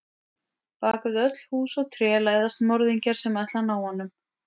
Bak við öll hús og tré læðast morðingjar sem ætla að ná honum.